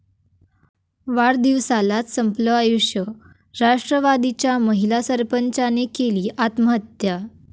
वाढदिवसालाच संपलं आयुष्य, राष्ट्रवादीच्या महिला सरपंचाने केली आत्महत्या